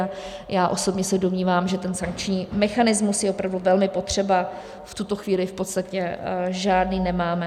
A já osobně se domnívám, že ten sankční mechanismus je opravdu velmi potřeba, v tuto chvíli v podstatě žádný nemáme.